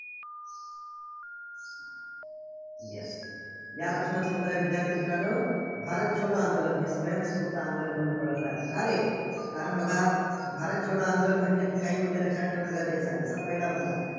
Yes या प्रश्नाचं उत्तर आहे, विद्यार्थी मित्रांनो भारत छोडो आंदोलन हे स्वयस्फूर्त आंदोलन म्हणून ओळखल्या जातं. का रे? कारण बघा, भारत छोडो आंदोलन म्हटलं की काही मुद्दे लक्षात ठेवणं गरजेचं आहे. जसा पहिला मुद्दा.